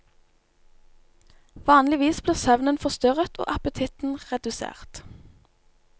Vanligvis blir søvnen forstyrret og appetitten redusert.